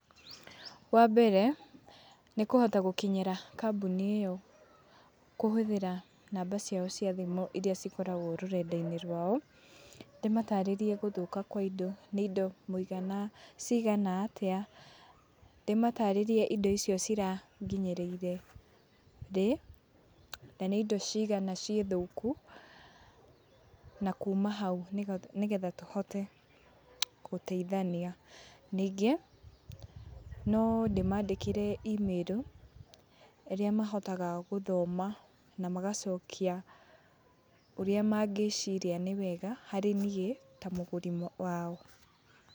Wambere nĩ kũhota gũkinyĩra kambuni ĩyo kũhũthĩra namba ciao cia thimũ iria cikoragwo rũrenda-inĩ rwao, ndĩmatarĩrie gũthũka kwa indo. Nĩ indo mũigana, ciigana atĩa, ndĩmataarĩrie indo icio ciranginyĩrĩire rĩ, na nĩ indo cigana ciĩ thũku, na kuuma hau nĩgetha tũhote gũteithania. Ningĩ, no ndĩmandĩkĩre email, ũrĩa mahotaga gũthoma na magacokia ũrĩa mangĩĩciria nĩ wega harĩ niĩ ta mũgũri wao.